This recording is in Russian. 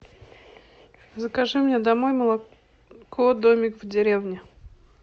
закажи мне домой молоко домик в деревне